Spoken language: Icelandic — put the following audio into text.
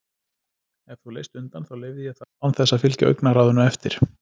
Ef þú leist undan þá leyfði ég það án þess að fylgja augnaráðinu eftir.